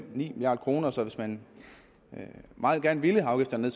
milliard kroner så hvis man meget gerne ville have afgifterne